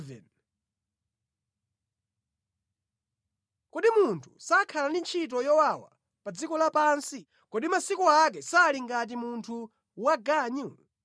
“Kodi munthu sakhala ndi ntchito yowawa pa dziko lapansi? Kodi masiku ake sali ngati munthu waganyu?